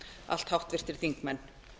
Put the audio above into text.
allt háttvirtir þingmenn